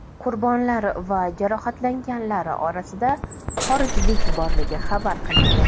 Qurbonlar va jarohatlanganlar orasida xorijlik borligi xabar qilingan.